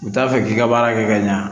U t'a fɛ k'i ka baara kɛ ka ɲa